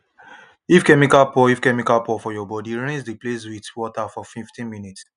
if chemical pour if chemical pour for your body rinse the place with water for 15 minutes